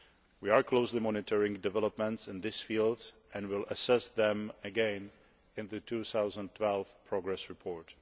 We are closely monitoring developments in this field and will assess them again in the 2012 progress report.